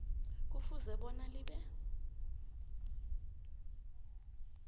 kufuze bona libe